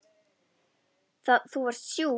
Þú varst sjúk.